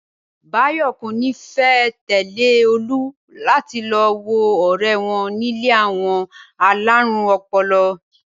Báyò̩ kò ní fé̩ tè̩lé Olú láti lo wo o̩ré̩ wo̩n nílé àwo̩n alárùn o̩po̩lo̩